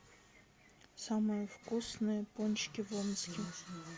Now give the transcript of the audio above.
самые вкусные пончики в омске